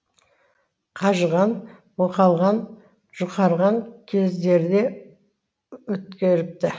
қажыған мұқалған жұқарған кездерде өткеріпті